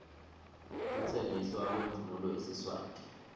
kutsengiswa kwemvunulo yesiswati